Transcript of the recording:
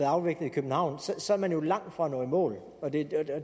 afviklet i københavn så er man jo langt fra at nå i mål